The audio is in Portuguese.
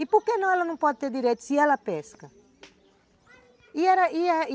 E por que não ela não pode ter direito se ela pesca?